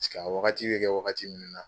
a wagati bɛ kɛ wagati min na